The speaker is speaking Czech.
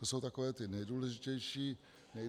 To jsou takové ty nejdůležitější věci.